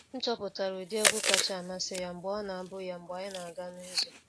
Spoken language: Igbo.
M chọpụtara ụdị egwu kacha amasị ya mgbe ọ na-abu ya mgbe anyị na aga n'ụzọ.